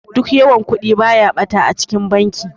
Duk yawan Kudi baya bata a cikin banki.